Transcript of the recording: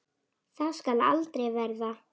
Það skal aldrei verða!